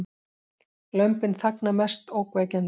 Lömbin þagna mest ógnvekjandi